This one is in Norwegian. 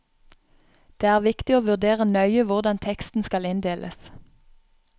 Det er viktig å vurdere nøye hvordan teksten skal inndeles.